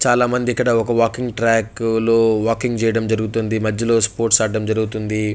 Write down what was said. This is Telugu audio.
చాలా మంది ఇక్కడ ఒక వాకింగ్ ట్రాక్ లో వాకింగ్ చేయటం జరుగుతుంది. మధ్యలో స్పోర్ట్స్ ఆడటం జరుగుతుంది.